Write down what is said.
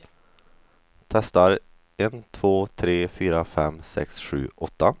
Testar en två tre fyra fem sex sju åtta.